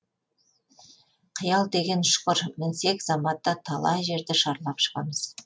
қиял деген ұшқыр мінсек заматта талай жерді шарлап шығамыз